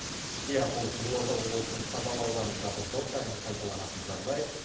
иә бұл қызылорда облысының қазалы ауданындағы жыл сайынғы қайталанатын жағдай